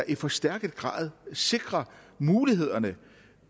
i forstærket grad sikrer mulighederne